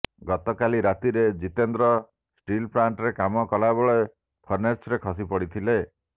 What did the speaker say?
ଗତକାଲି ରାତିରେ ଜିତେନ୍ଦ୍ର ଷ୍ଟିଲ ପ୍ଲାଣ୍ଟରେ କାମ କଲାବେଳେ ଫର୍ଣ୍ଣେସରେ ଖସି ପଡ଼ିଥିଲେ